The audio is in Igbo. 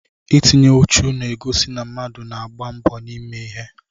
Itinye ùchù na-egosi na mmadụ na-agba mbọ ime ihe.